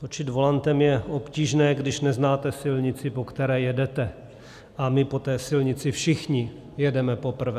Točit volantem je obtížné, když neznáte silnici, po které jedete, a my po té silnici všichni jedeme poprvé.